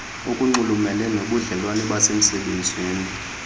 okunxulumene nobudlelwane basemsebenzini